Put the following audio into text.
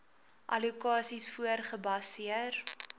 allokasies voor gebaseer